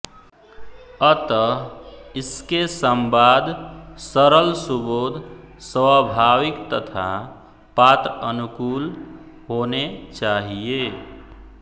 अतः इसके संवाद सरल सुबोध स्वभाविक तथा पात्रअनुकूल होने चाहिए